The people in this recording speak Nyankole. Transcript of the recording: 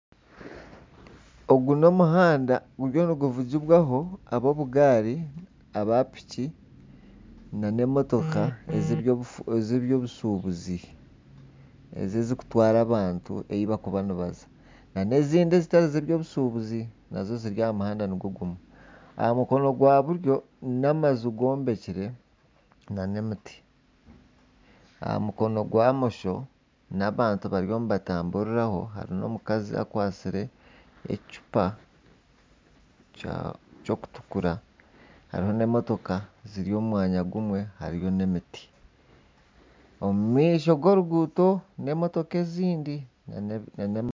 Ogu n'omuhanda guriyo niguvugibwaho ab'obugaari ,aba piki nana emotoka ,ez'ebyobushubuzi, ezi ezirikutwara abantu ahu barikuba nibaza nana ezindi ezitari z'obushubuzi nazo ziri aha muhanda nigwo gumwe, aha mukono gwa buryo n'amaju gombekire nana emiti, aha mukono gwa bumosho n'abantu bariyo nibatamburiraho ari n'omukazi akwatsire ekicupa ekyokutukura hariho n'emotoka ziri omu mwanya gumwe hariyo n'emiti omumaisho g'oruguuto n'emotoka ezindi.